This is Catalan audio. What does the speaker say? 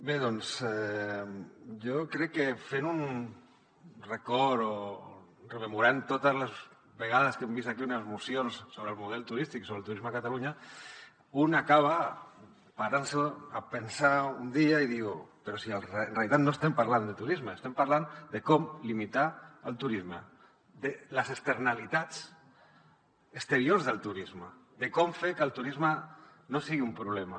bé doncs jo crec que fent un record o rememorant totes les vegades que hem vist aquí unes mocions sobre el model turístic sobre el turisme a catalunya un acaba parant se a pensar un dia i diu però si en realitat no estem parlant de turisme estem parlant de com limitar el turisme de les externalitats exteriors del turisme de com fer que el turisme no sigui un problema